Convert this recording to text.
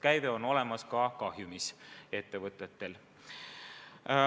Käive on olemas ka kahjumis ettevõtetel.